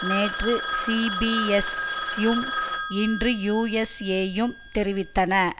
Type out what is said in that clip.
நேற்று சீபிஎஸ்யும் இன்று யூஎஸ்ஏயும் தெரிவித்தன